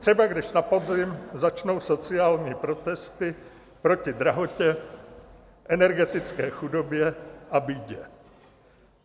Třeba když na podzim začnou sociální protesty proti drahotě, energetické chudobě a bídě.